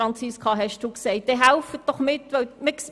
Dann helfen Sie doch bitte mit!